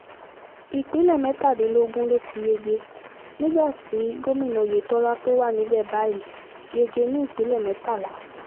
ìpínlẹ̀ mẹ́tàdínlógún ló ti yege nígbà tí gómìnà oyetola tó wà níbẹ̀ báyìí yege ní ìpínlẹ̀ mẹ́tàlá